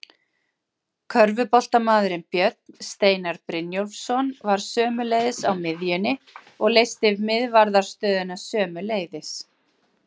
Körfuboltamaðurinn Björn Steinar Brynjólfsson var sömuleiðis á miðjunni og leysti miðvarðarstöðuna sömuleiðis.